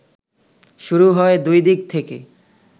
শুরু হয় দুই দিক থেকে